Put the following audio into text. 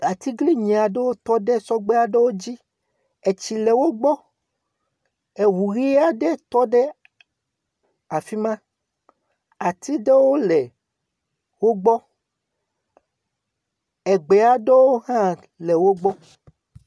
Atiglinyi aɖewo tɔ ɖe sɔgbe aɖewo dzi. Etsi le wogbɔ. Eŋu ʋi aɖe tɔ ɖe afi ma. Ati aɖewo le wogbɔ. Gbe aɖewo hã le wogbɔ.